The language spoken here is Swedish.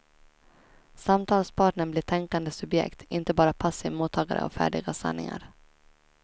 Samtalspartnern blir tänkande subjekt, inte bara passiv mottagare av färdiga sanningar.